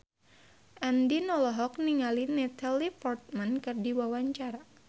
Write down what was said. Andien olohok ningali Natalie Portman keur diwawancara